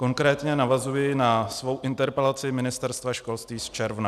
Konkrétně navazuji na svou interpelaci Ministerstva školství z června.